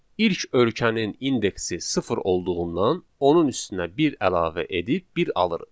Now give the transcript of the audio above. İlk ölkənin indeksi sıfır olduğundan onun üstünə bir əlavə edib bir alırıq.